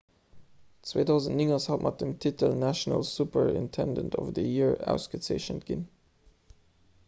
2009 ass hatt mat dem titel national superintendent of the year ausgezeechent ginn